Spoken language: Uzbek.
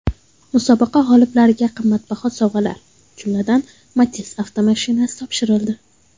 Musobaqa g‘oliblariga qimmatbaho sovg‘alar, jumladan, Matiz avtomashinasi topshirildi.